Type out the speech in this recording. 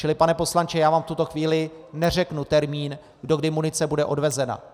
Čili pane poslanče, já vám v tuto chvíli neřeknu termín, do kdy munice bude odvezena.